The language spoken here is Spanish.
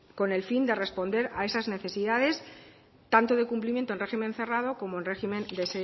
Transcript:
con el fin de responder a esas necesidades tanto de cumplimiento en régimen cerrado como en régimen de